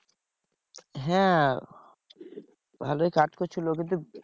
হ্যাঁ ভালোই কাজ করছিলো কিন্তু